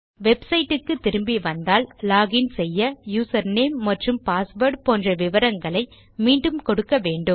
website க்கு திரும்பி வந்தால் லோகின் செய்ய யூசர் நேம் மற்றும் பாஸ்வேர்ட் போன்ற விவரங்களை மீண்டும் கொடுக்க வேண்டும்